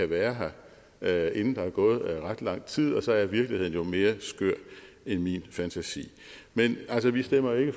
være her inden der er gået ret lang tid og så er virkeligheden jo mere skør end min fantasi men vi stemmer jo